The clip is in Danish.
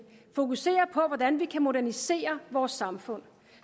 fokuserer på hvordan vi kan modernisere vores samfund